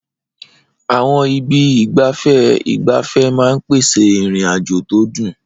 Àwọn ibi ìgbafẹ́ ìgbafẹ́ máa ń pèsè ìrìn-àjò tó dùn.